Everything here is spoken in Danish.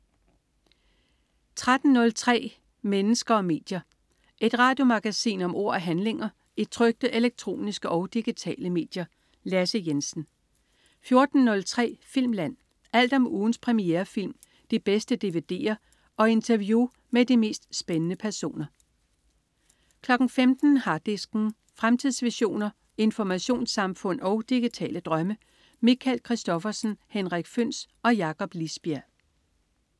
13.03 Mennesker og medier. Et radiomagasin om ord og handlinger i trykte, elektroniske og digitale medier. Lasse Jensen 14.03 Filmland. Alt om ugens premierefilm, de bedste dvd'er og interview med de mest spændende personer 15.00 Harddisken. Fremtidsvisioner, informationssamfund og digitale drømme. Michael Christophersen, Henrik Føhns og Jakob Lisbjerg